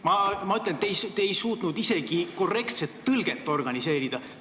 Mina ütlen, et te ei suutnud isegi korrektset tõlget organiseerida.